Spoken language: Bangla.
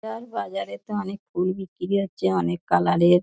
আর বাজারে তো অনেক ফুল বিক্রি হচ্ছে অনেক কালার -এর।